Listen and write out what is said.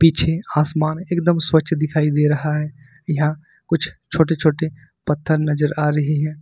पीछे आसमान एकदम स्वच्छ दिखाई दे रहा है यहां कुछ छोटे छोटे पत्थर नजर आ रही है।